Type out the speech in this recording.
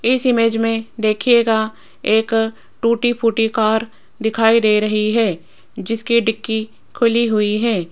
इस इमेज में देखिएगा एक टूटी फूटी कार दिखाई दे रही है जिसकी डिक्की खुली हुई है।